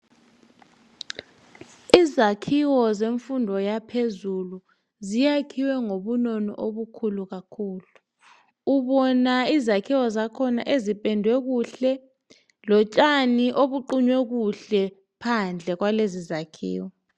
Izakhiwo zemfundo yaphezulu, ziyakhiwe ngobunono obukhulu kakhulu. Ubona izakhiwo zakhona ezipendwe kuhle, lotshani obuqunywe kuhle phandle kwalezi zakhiwo.